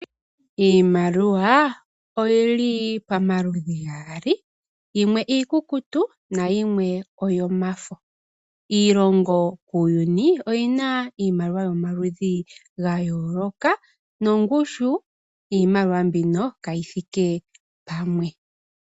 Iimaliwa oyili pomaludhi gaali yimwe iikukutu nayimwe oyomafo . Iilongo kuuyuni oyina iimaliwa yomaludhi ga yooloka nongushu yiimaliwa mbino kayithike pamwe.